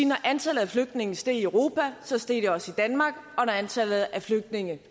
når antallet af flygtninge steg i europa steg det også i danmark og når antallet af flygtninge